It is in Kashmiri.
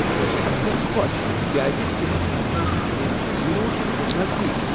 بہٕ چھس از کل خوش تکیاز صحت مرکز چھ کنہ تہ ضرورتہٕ وِزِ نزدیک۔